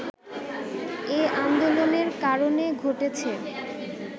এ আন্দোলনের কারণে ঘটেছে